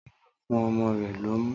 Tọ́pẹ́ yóò fún ọmọ rẹ lọ́mú.